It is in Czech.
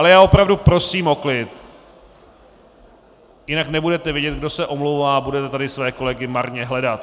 Ale já opravdu prosím o klid, jinak nebudete vědět, kdo se omlouvá, a budete tady své kolegy marně hledat.